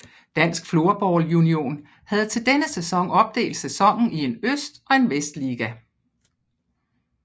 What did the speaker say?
Dansk Floorball Union havde til denne sæson opdelt sæsonen i en øst og en vestliga